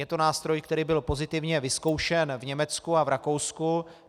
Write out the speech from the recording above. Je to nástroj, který byl pozitivně vyzkoušen v Německu a v Rakousku.